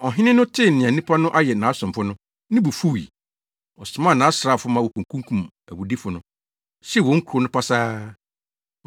Ɔhene no tee nea nnipa no ayɛ nʼasomfo no, ne bo fuwii. Ɔsomaa nʼasraafo ma wokokunkum awudifo no, hyew wɔn kurow no pasaa.